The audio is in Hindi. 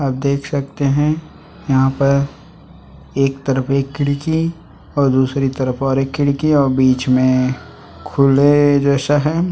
आप देख सकते है यहाँ पर एक तरफ एक खिड़की और दूसरी तरफ और एक खिड़की और बीच में खुले जैसा है ।